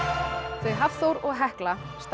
þau Hafþór og Hekla standa